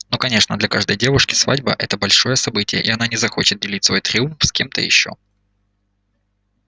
ну конечно для каждой девушки свадьба это большое событие и она не захочет делить свой триумф с кем-то ещё